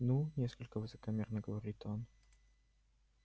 ну несколько высокомерно говорит он